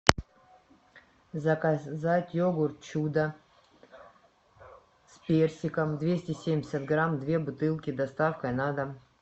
заказать йогурт чудо с персиком двести семьдесят грамм две бутылки с доставкой на дом